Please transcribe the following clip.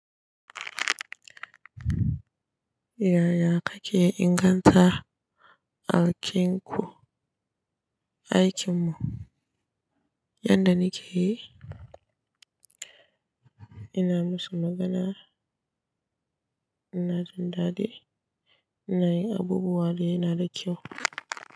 Yaya kake inganta aikin ku? Aikin mu yadda nake yi, ina musu magana, ina jin daɗi, ina yin abubuwa da yana da kyau.